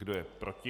Kdo je proti?